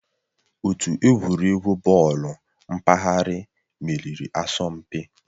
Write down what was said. Otu egwuregwu bọọlụ mpaghara meriri asọmpi.